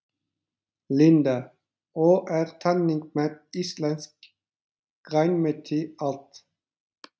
Linda: Og er þannig með íslenskt grænmeti allt?